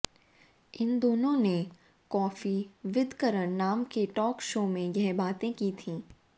इन दोनों ने coffee with Karan नाम के टॉक शो में यह बातें की थी